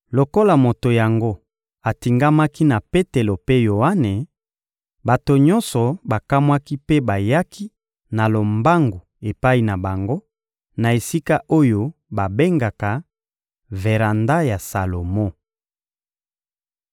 Lokola moto yango atingamaki na Petelo mpe Yoane, bato nyonso bakamwaki mpe bayaki na lombangu epai na bango, na esika oyo babengaka «Veranda ya Salomo.»